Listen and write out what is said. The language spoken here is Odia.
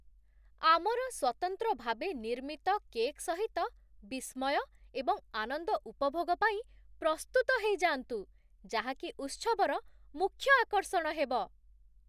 ଆମର ସ୍ଵତନ୍ତ୍ର ଭାବେ ନିର୍ମିତ କେକ୍ ସହିତ ବିସ୍ମୟ ଏବଂ ଆନନ୍ଦ ଉପଭୋଗ ପାଇଁ ପ୍ରସ୍ତୁତ ହେଇଯାନ୍ତୁ, ଯାହା କି ଉତ୍ସବର ମୁଖ୍ୟ ଆକର୍ଷଣ ହେବ!